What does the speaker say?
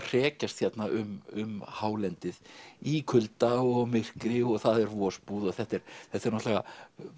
hrekjast hérna um hálendið í kulda og myrkri og það er vosbúð og þetta eru náttúrulega